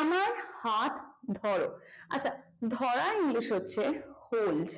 আমার হাত ধরো আচ্ছা ধরা english হচ্ছে hold